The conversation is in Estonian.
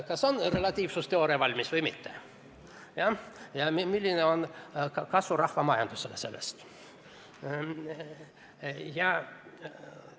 Kas saab relatiivsusteooria valmis või mitte ja milline on kasu sellest rahvamajandusele?